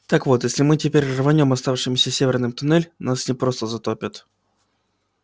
так вот если мы теперь рванём оставшимся северным туннель нас не просто затопит